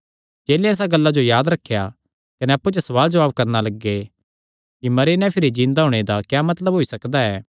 चेलेयां इसा गल्ला जो याद रखेया कने अप्पु च सवाल जवाब करणा लग्गे कि मरी नैं भिरी जिन्दा होणे दा क्या मतलब होई सकदा ऐ